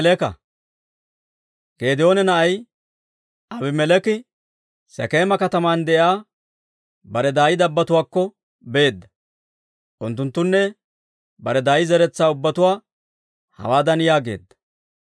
Geedoona na'ay Aabimeleeki Sekeema kataman de'iyaa bare daay dabbotuwaakko beedda; unttunttanne bare daay zeretsaa ubbatuwaa hawaadan yaageedda;